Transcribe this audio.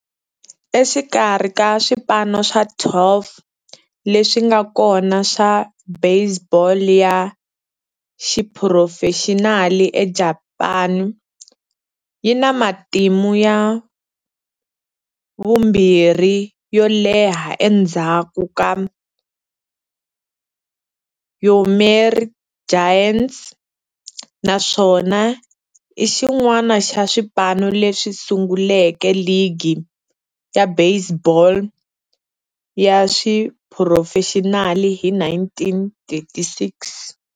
Exikarhi ka swipano swa 12 leswi nga kona swa baseball ya xiphurofexinali eJapani, yi na matimu ya vumbirhi yo leha endzhaku ka Yomiuri Giants, naswona i xin'wana xa swipano leswi sunguleke ligi ya baseball ya xiphurofexinali hi 1936.